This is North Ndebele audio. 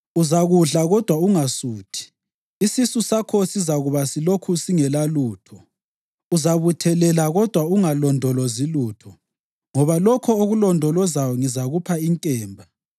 Uzakudla kodwa ungasuthi; isisu sakho sizakuba silokhu singelalutho. Uzabuthelela kodwa ungalondolozi lutho, ngoba lokho okulondolozayo ngizakupha inkemba.